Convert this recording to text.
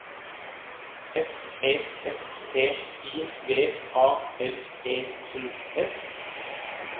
F E S T I V A L E N S